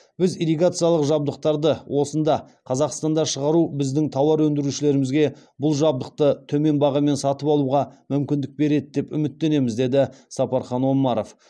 біз ирригациялық жабдықтарды осында қазақстанда шығару біздің тауар өндірушілерімізге бұл жабдықты төмен бағамен сатып алуға мүмкіндік береді деп үміттенеміз деді сапархан омаров